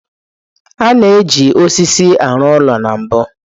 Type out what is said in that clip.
A na-eji osisi arụ ụlọ na mbu.